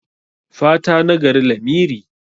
Fata nagari lamiri.